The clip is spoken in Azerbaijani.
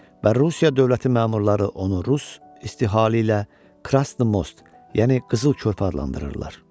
Və Rusiya dövləti məmurları onu Rus istihalı ilə Krasnimost, yəni qızıl körpü adlandırırlar.